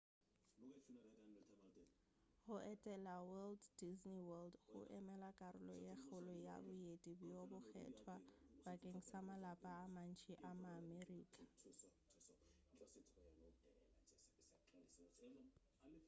go etela walt disney world go emela karolo ye kgolo ya boeti bjo bokgethwa bakeng sa malapa a mantši a ma-america